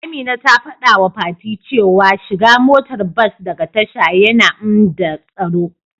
Amina ta fadawa fati cewa shiga motar bas daga tasha yana nmda tsaro.